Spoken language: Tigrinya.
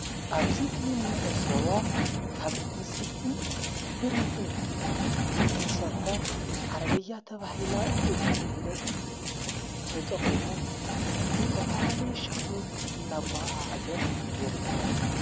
ኣብዙይ ከም ንዕዘቦ ካብ ዕምፀይትን ብረትን እንሠርሖ ዓረበያ ተብሂላ እትፍለጥ ተጠቕሙ ዝተፋላለየ ሸኽሚ እናጓዓዓዘ ይርከብ።